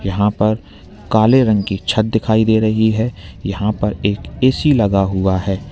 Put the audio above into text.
यहां पर काले रंग की छत दिखाई दे रही है यहां पर एक ऐ_सी लगा हुआ है।